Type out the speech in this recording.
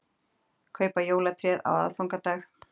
Kaupa jólatréð á aðfangadag